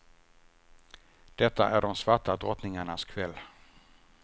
Detta är de svarta drottningarnas kväll.